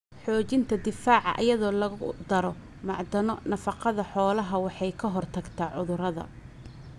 Xoojinta difaaca iyadoo lagu daro macdano nafaqada xoolaha waxay ka hortagtaa cudurada.